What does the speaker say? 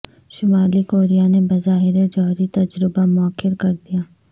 شمالی کوریا نے بظاہر جوہری تجربہ موخر کر دیا